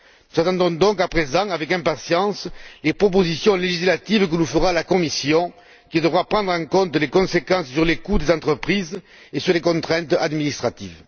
Nous attendons donc à présent avec impatience les propositions législatives que nous fera la Commission, qui devra prendre en compte les conséquences sur les coûts des entreprises et sur les contraintes administratives.